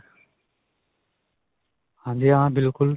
ਹਾਂਜੀ ਹਾਂ ਬਿਲਕੁਲ.